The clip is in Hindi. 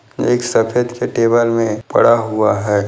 एक सफेद के टेबल में पड़ा हुआ है।